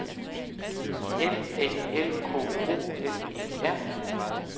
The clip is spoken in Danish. F A L K O N E R